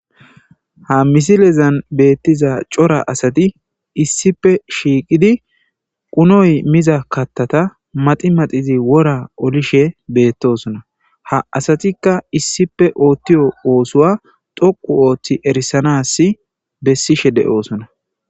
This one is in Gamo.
Ha misilezan beettiza cora asati issippe bettiza qunoy miza katata maxi maxidiwora oolishe bettossonna ha asattikka issippe ottiyo oosuwa dhoqqu ooththi erisanas besishe de'ossonna